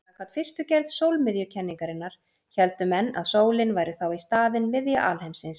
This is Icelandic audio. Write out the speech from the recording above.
Samkvæmt fyrstu gerð sólmiðjukenningarinnar héldu menn að sólin væri þá í staðinn miðja alheimsins.